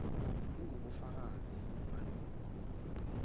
ingubufakazi balokho kukhethwa